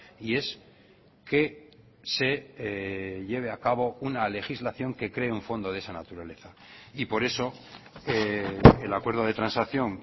y es que se lleve a cabo una legislación que cree un fondo de esa naturaleza y por eso el acuerdo de transacción